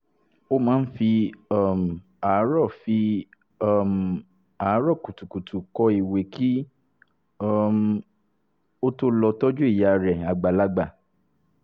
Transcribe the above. o ma n fi um aarọ fi um aarọ kutukutu kọ iwe ki um o to lọ tọju iya rẹ agbalagba